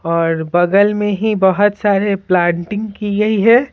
और बगल में ही बहुत सारे प्लांटिंग की गई है।